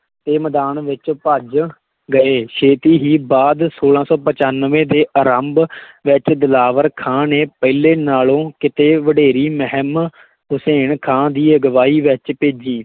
ਤੇ ਮੈਦਾਨ ਵਿੱਚ ਭੱਜ ਗਏ ਛੇਤੀ ਹੀ ਬਾਅਦ ਛੋਲਾਂ ਸੌ ਪਚਾਨਵੇਂ ਦੇ ਆਰੰਭ ਵਿੱਚ ਦਿਲਾਵਰ ਖਾਂ ਨੇ ਪਹਿਲੇ ਨਾਲੋਂ ਕਿਤੇ ਵਡੇਰੀ ਮਹਿੰਮ ਹੁਸੈਨ ਖਾਂ ਦੀ ਅਗਵਾਈ ਵਿੱਚ ਭੇਜੀ।